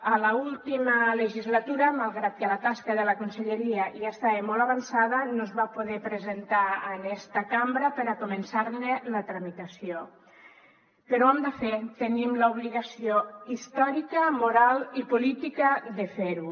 a l’última legislatura malgrat que la tasca de la conselleria ja estava molt avançada no es va poder presentar en esta cambra per a començar ne la tramitació però ho hem de fer tenim l’obligació històrica moral i política de fer ho